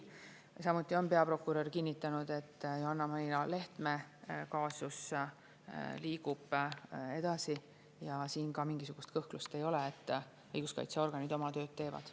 Ja samuti on peaprokurör kinnitanud, et Johanna-Maria Lehtme kaasus liigub edasi, ja siin ka mingisugust kõhklust ei ole, õiguskaitseorganid oma tööd teevad.